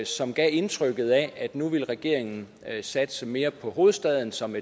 som gav indtrykket af at nu ville regeringen satse mere på hovedstaden som